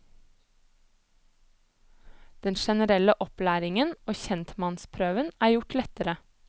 Den generelle opplæringen og kjentmannsprøven er gjort lettere.